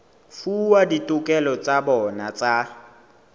fuwa ditokelo tsa bona tsa